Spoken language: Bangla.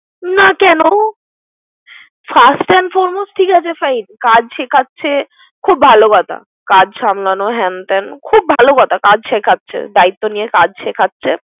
না কোন ঠিক আছে কাজ সেখাচ্ছে। খুব ভালো কথা। কাজ সামলানো। হেন ত্যান খুব ভলো কথা। কাজ শেখাচ্ছে দায়িত্ব নিয়ে কাজ শেখাচ্ছে।